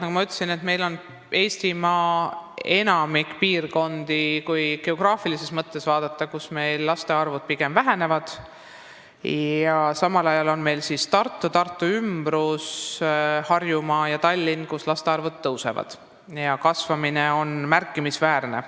Nagu ma ütlesin, enamikus Eestimaa piirkondades, kui geograafilises mõttes vaadata, laste arv pigem väheneb, aga samal ajal Tartus, Tartu ümbruses, Harjumaal ja Tallinnas laste arv suureneb ning kasv on märkimisväärne.